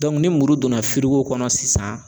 ni muru donna kɔnɔ sisan